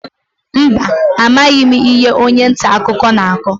Mba, amaghị m ihe onye nta akụkọ na-akọ.